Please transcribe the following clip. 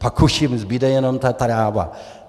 Pak už jim zbude jenom ta tráva.